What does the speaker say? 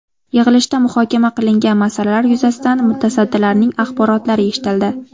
Yig‘ilishda muhokama qilingan masalalar yuzasidan mutasaddilarning axborotlari eshitildi.